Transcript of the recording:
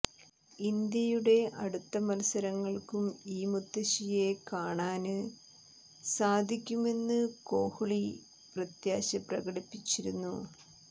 ഇന്ത്യയുടെ അടുത്ത മത്സരങ്ങള്ക്കും ഈ മുത്തശ്ശിയെ കാണാന് സാധിക്കുമെന്ന് കോഹ്ലി പ്രത്യാശ പ്രകടിപ്പിച്ചിരുന്നു